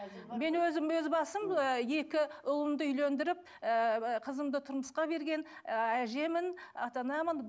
мен өзім өз басым ы екі ұлымды үйлендіріп ыыы қызымды тұрмысқа берген ыыы әжемін ата анамын